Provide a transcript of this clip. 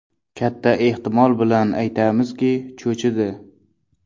Katta ehtimol bilan aytamizki, cho‘chidi.